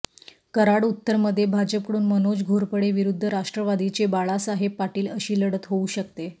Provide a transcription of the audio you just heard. कराड उत्तर मध्ये भाजपकडून मनोज घोरपडे विरुद्ध राष्ट्रवादीचे बाळासाहेब पाटील अशी लढत होऊ शकते